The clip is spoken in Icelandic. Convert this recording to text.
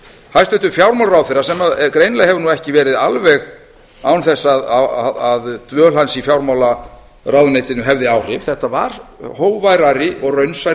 hæstvirtur fjármálaráðherra sem greinilega hefur nú ekki verið alveg án þess að dvöl hans í fjármálaráðuneytinu hefði áhrif þetta var hógværari og raunsærri